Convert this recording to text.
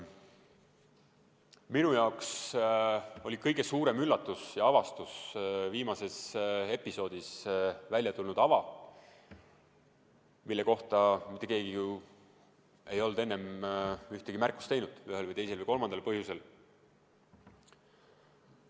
Minu jaoks oli kõige suurem üllatus ja avastus viimases episoodis välja tulnud ava, mille kohta mitte keegi ei olnud enne ühtegi märkust teinud ühel või teisel või kolmandal põhjusel.